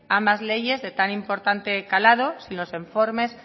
ambas leyes de tan importante calado sin los informes